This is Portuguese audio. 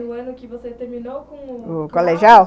No ano que você terminou com o... O colegial?